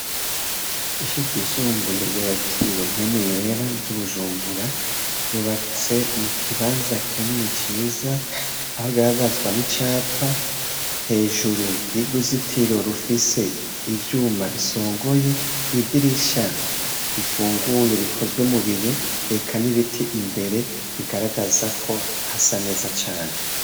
Ishure ryisumbuye ryakiriye mpwemu yera ryibujumbura ryubatse mukibanza kinini ciza aho bigaragazwa nicapa hejuru yuruzitiro rufise ivyuma bisongoye idirisha rifunguye rikozwe mubiyo aka nibiti imbere biragaragaza ko hasa neza cane